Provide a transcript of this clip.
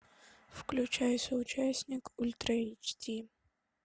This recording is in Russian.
включай соучастник ультра эйч ди